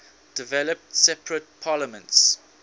developed separate parliaments